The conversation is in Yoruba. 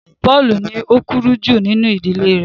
Paulu ní o kúrú ju nínú ìdílé rẹ